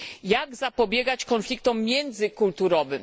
Jak zapobiegać konfliktom międzykulturowym?